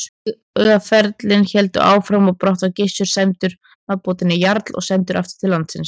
Vígaferlin héldu áfram og brátt var Gissur sæmdur nafnbótinni jarl og sendur aftur til landsins.